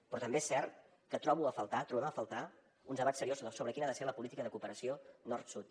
però també és cert que trobo a faltar trobem a faltar un debat seriós sobre quina ha de ser la política de cooperació nord sud